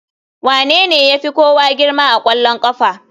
Wanene ya fi kowa girma a ƙwallon ƙafa?